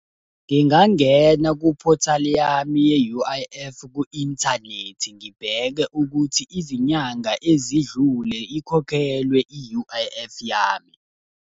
Ngingangena kuphothali yami ye-U_I_F, ku-inthanethi ngibheke ukuthi izinyanga ezidlule ikhokhelwe i-U_I_F yami.